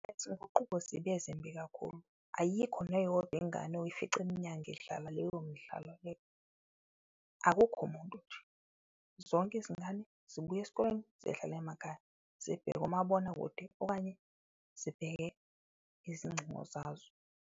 Izinguquko zibe zimbi kakhulu, ayikho neyodwa ingane oyifica emnyango idlala leyo midlalo leyo, akukho muntu nje. Zonke izingane zibuya esikoleni zihlale emakhaya, zibheke umabonakude okanye zibheke izingcingo zazo.